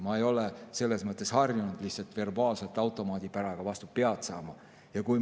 Ma ei ole lihtsalt harjunud verbaalselt automaadipäraga vastu pead saama.